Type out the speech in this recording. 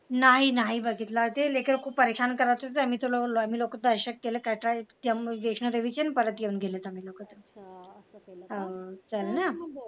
नाही नाही बघितलं ते लेकरं खूप परेशान करत होते तर मग मला दर्शन घेयला कंटाळा येत होते त्यामुळे वैष्णदेवीचे ना घेऊन गेले त्यांना लोकांना हा तर आहे ना